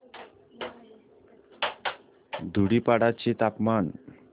धुडीपाडा चे तापमान